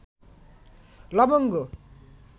লবঙ্গ